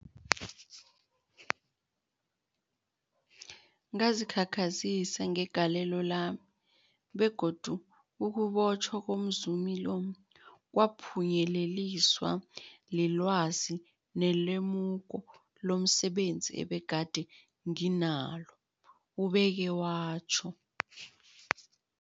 Ngazikhakhazisa ngegalelo lami, begodu ukubotjhwa komzumi lo kwaphunyeleliswa lilwazi nelemuko lomse benzi ebegade nginalo, ubeke watjho.